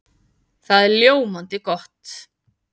Það er ljómandi gott!